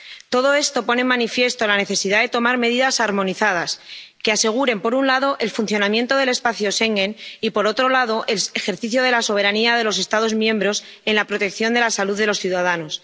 Todo esto pone en manifiesto la necesidad de tomar medidas armonizadas que aseguren, por un lado, el funcionamiento del espacio Schengen y, por otro lado, el ejercicio de la soberanía de los Estados miembros en la protección de la salud de los ciudadanos.